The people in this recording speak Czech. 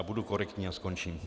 A budu korektní a skončím.